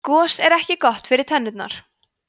gos er ekki gott fyrir tennurnar